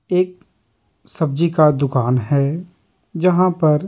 एक सब्जी का दुकान है जहाँ पर --